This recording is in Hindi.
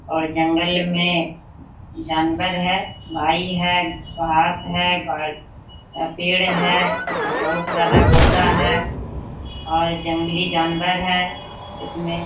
और जंगल में जानवर है खाई है घास है पेड़ है बहुत सारा पौधा है और जंगली जानवर है इसमें।